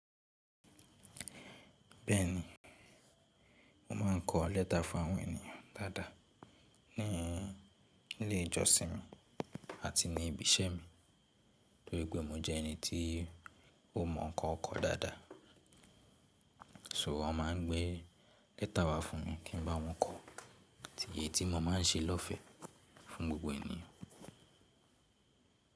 Bẹ́ẹ̀ni, mo ma ń kọ lẹ́ta fún àwọn ènìyàn dáadáa ni ilé ìjọsìn mi àti ní ibi iṣẹ́ mi torí pé mo jẹ́ ẹni tí ó mọ̀ ń kọ kọ dáadáa. So wọ́n máa ń gbé lẹ́ta wá fún mi kí ń bá wọn kọ́, tí ye tí mo máa ń ṣe lọ́fẹ̀ẹ́ fún gbogbo ènìyàn.